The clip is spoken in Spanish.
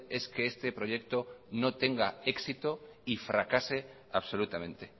es que este proyecto no tenga éxito y fracase absolutamente